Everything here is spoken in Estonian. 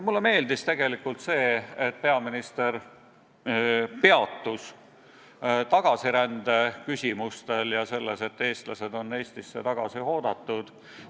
Mulle meeldis aga see, et peaminister peatus tagasirändel ja sellel, et eestlased on Eestisse tagasi oodatud.